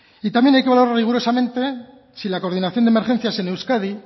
y también hay que valorar rigurosamente si la coordinación de emergencias en euskadi